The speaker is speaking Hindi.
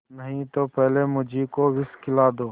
नहीं तो पहले मुझी को विष खिला दो